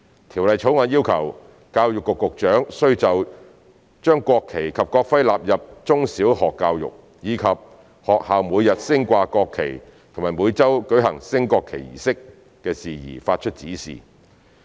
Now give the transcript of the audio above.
《條例草案》要求教育局局長須就將國旗及國徽納入中小學教育，以及學校每日升掛國旗及每周舉行升國旗儀式的事宜發出指示。